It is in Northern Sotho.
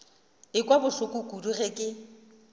ekwa bohloko kudu ge ke